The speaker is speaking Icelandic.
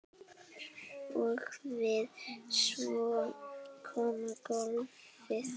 Og svo kom golfið.